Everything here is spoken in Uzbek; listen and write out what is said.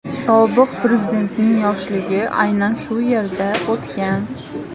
Sobiq prezidentning yoshligi aynan shu yerda o‘tgan.